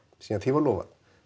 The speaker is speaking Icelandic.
síðan því var lofað